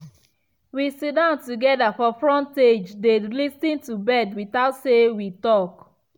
we sidon together for frontagedey lis ten to bird without say we talk